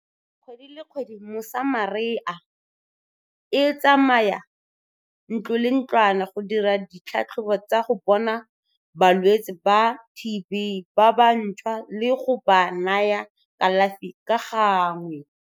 Kgwedi le kgwedi Mosamaria e tsamaya ntlo le ntlwana go dira ditlhatlhobo tsa go bona balwetse ba TB ba ba ntšhwa le go ba naya kalafi ka gangwe.